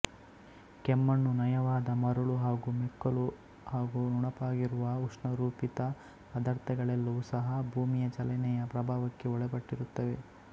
ಕೆಮ್ಮಣ್ಣು ನಯವಾದ ಮರುಳು ಹಾಗು ಮೆಕ್ಕಲು ಹಾಗು ನುಣುಪಾಗಿರುವ ಉಷ್ಣರೂಪಿತ ಪದರ್ಥಗಳೆಲ್ಲವೂ ಸಹ ಭೂಮಿಯಚಲನೆಯ ಪ್ರಭಾವಕ್ಕೆ ಒಳಪಟ್ಟಿರುತ್ತವೆ